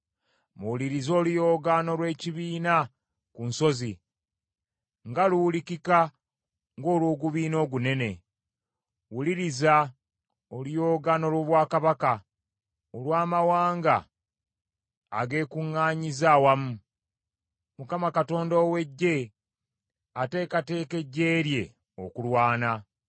Muwulirize oluyoogaano lw’ekibiina ku nsozi, nga luwulikika ng’olw’ogubiina ogunene! Wuliriza, oluyoogaano lw’obwakabaka, olw’amawanga ag’ekuŋŋaanyizza awamu! Mukama Katonda ow’Eggye ateekateeka eggye lye okulwana.